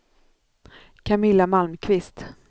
Camilla Malmqvist